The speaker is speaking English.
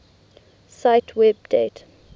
cite web date